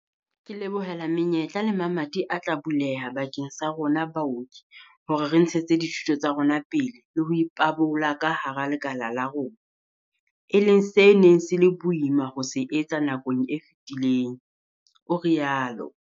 Ke lebohela menyetla le mamati a tla buleha bakeng sa rona baoki hore re ntshetse dithuto tsa rona pele le ho ipabola ka hara lekala la rona, e leng se neng se le boima ho se etsa nakong e fetileng, o rialo.